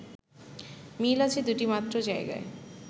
মিল আছে দুটি মাত্র জায়গায়